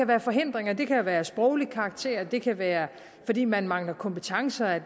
være forhindringer det kan være af sproglig karakter det kan være fordi man mangler kompetencer